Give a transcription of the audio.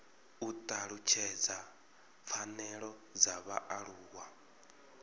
u talutshedza pfanelo dza vhaaluwa